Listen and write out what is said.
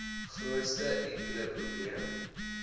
grootste enkele probleem